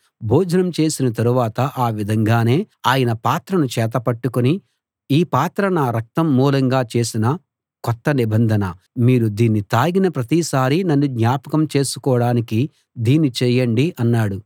భోజనం చేసిన తరువాత ఆ విధంగానే ఆయన పాత్రను చేత పట్టుకుని ఈ పాత్ర నా రక్తం మూలంగా చేసిన కొత్త నిబంధన మీరు దీన్ని తాగిన ప్రతిసారీ నన్ను జ్ఞాపకం చేసుకోడానికి దీన్ని చేయండి అన్నాడు